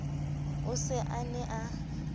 o se a ne a